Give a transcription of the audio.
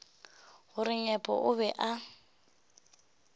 gore nyepo o be a